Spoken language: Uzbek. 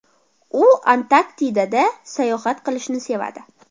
U Antarktidaga sayohat qilishni sevadi.